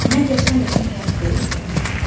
Məgər sən özün həyat deyilsənmi?